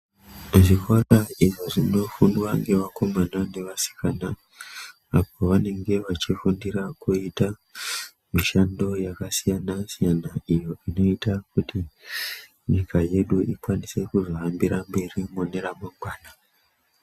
Zvikora izvo zvino fundwa nge vakomana ne vasikana apo vanenge vachi fundira kuita mishando yaka siyana siyana iyo inoita kuti nyika yedu ikwanise kuzo hambira mberi mune ra mangwana.